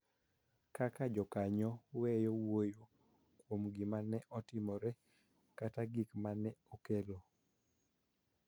Kaka jokanyo weyo wuoyo kuom gima ne otimore kata gik ma ne okelo,